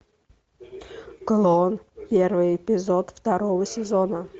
клон первый эпизод второго сезона